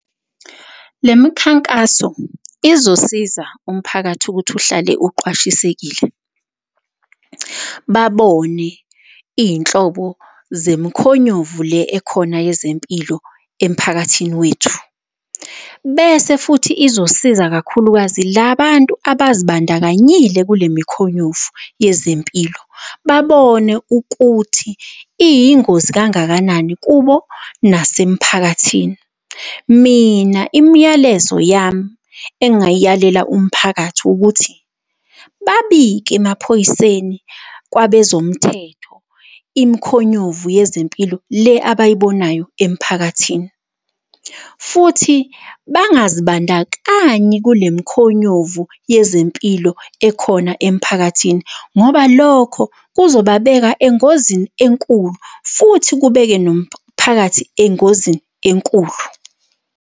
Le mikhankaso izosiza umphakathi ukuthi uhlale uqwashisekile, babone iy'nhlobo zemikhonyovu le ekhona yezempilo emphakathini wethu. Bese futhi izosiza kakhulukazi labantu abazibandakanyile kule mikhonyovu yezempilo, babone ukuthi iyingozi kangakanani kubo nasemphakathini. Mina imiyalezo yami engayiyalela umphakathi ukuthi, babike emaphoyiseni kwabezomthetho, imkhonyovu yezempilo le abayibonayo emphakathini, futhi bangazibandakanyi kule mikhonyovu yezempilo ekhona emphakathini, ngoba lokho kuzobabeka engozini enkulu futhi kubeke nomphakathi engozini enkulu.